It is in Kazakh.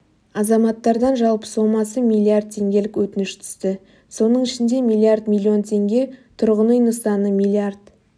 азаматтардан жалпы сомасы миллиард теңгелік өтініш түсті соның ішінде миллиард миллион теңге тұрғын үй нысаны миллиард